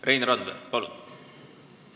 Rein Randver, palun!